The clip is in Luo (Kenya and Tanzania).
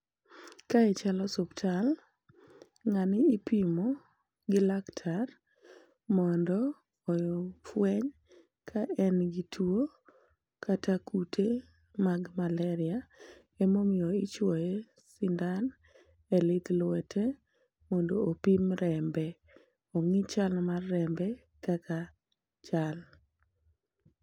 Kae chal osuptal, ng'ani ipimo gi laktar mondo ofweny ka en gi tuo kata kute mag malaria . Emomiyo ichuoye sindan e lith lwete mondo opim rembe, ong'i chal mar rembe kaka chal.